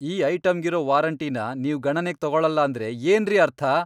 ಈ ಐಟಂಗಿರೋ ವಾರಂಟಿನ ನೀವ್ ಗಣನೆಗ್ ತಗೊಳಲ್ಲ ಅಂದ್ರೆ ಏನ್ರಿ ಅರ್ಥ?!